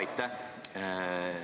Aitäh!